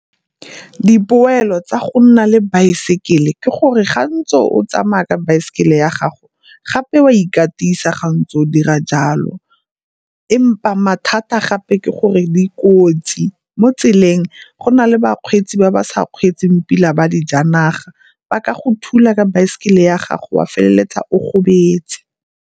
Dipoelo tsa go nna le baesekele ke gore gantsi o tsamaya ka baesekele ya gago gape o a ikatisa ga ntse o dira jalo empa mathata gape ke gore dikotsi mo tseleng go na le bakgweetsi ba ba sa kgweetseng pila ba dijanaga ba ka go thula ka baesekele ya gago wa feleletsa o gobetse.